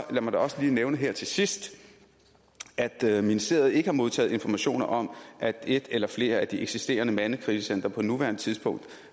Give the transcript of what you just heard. lad mig da også lige nævne her til sidst at ministeriet ikke har modtaget informationer om at et eller flere af de eksisterende mandekrisecentre på nuværende tidspunkt